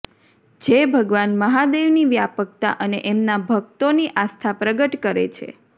જે ભગવાન મહાદેવની વ્યાપકતા અને એમના ભક્તોની આસ્થા પ્રગટ કરે છે